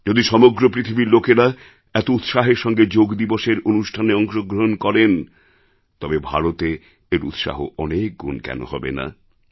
যদি সমগ্র পৃথিবীর লোকেরা এত উৎসাহের সঙ্গে যোগ দিবসএর অনুষ্ঠানে অংশগ্রহণ করেন তবে ভারতে এর উৎসাহ অনেক গুণ কেন হবে না